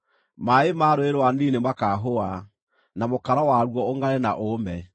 Maaĩ ma Rũũĩ rwa Nili nĩmakaahũa, na mũkaro waruo ũngʼare na ũũme.